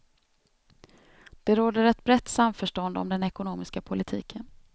Det råder ett brett samförstånd om den ekonomiska politiken.